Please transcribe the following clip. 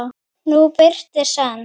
nú birtir senn.